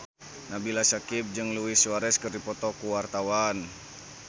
Nabila Syakieb jeung Luis Suarez keur dipoto ku wartawan